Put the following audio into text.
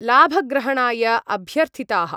लाभग्रहणाय अभ्यर्थिताः।